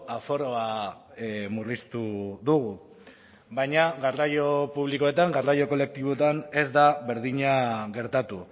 aforoa murriztu dugu baina garraio publikoetan garraio kolektiboetan ez da berdina gertatu